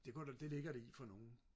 det går da det ligger det i for nogen